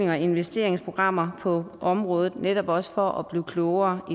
og investeringsprogrammer på området netop også for at blive klogere